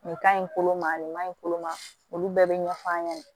Nin ka ɲi kolo ma nin kaɲi kolo ma olu bɛɛ bɛ ɲɛf'a ɲɛna